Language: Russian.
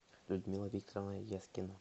людмила викторовна ескина